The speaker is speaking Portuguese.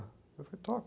Eu falei, toca.